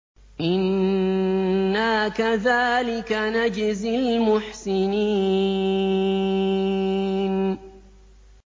إِنَّا كَذَٰلِكَ نَجْزِي الْمُحْسِنِينَ